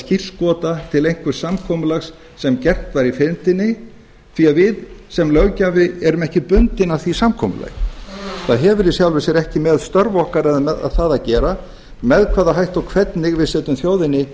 skírskota til einhvers samkomulags sem gert var í fyrndinni því að við sem löggjafi erum ekki bundin af því samkomulagi það hefur í sjálfu sér ekki með störf okkar eða annað það að gera með hvaða hætti og hvernig við setjum þjóðinni